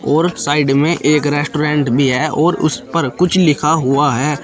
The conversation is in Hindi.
और साइड में एक रेस्टोरेंट भी है और उस पर कुछ लिखा हुआ है।